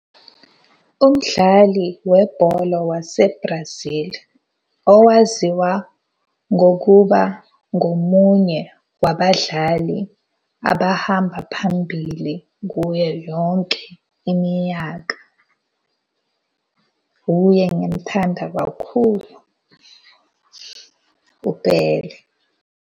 Umdlali webholo wase-Brazil owaziwa ngokuba ngomunye wabadlali abahamba phambili kuyo yonke iminyaka. Hhuye engimthanda kakhulu, uBhele.